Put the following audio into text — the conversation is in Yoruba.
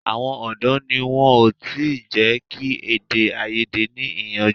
Àwọn ọ̀dọ́ ni wọn ò tí jẹ́ kí èdè-áiyedé ní ìyànjú.